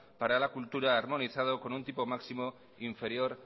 para la cultura armonizado con un tipo máximo inferior